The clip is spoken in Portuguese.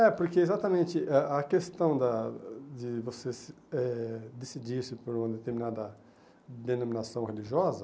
É, porque exatamente a a questão da de você se eh decidir se por uma determinada denominação religiosa,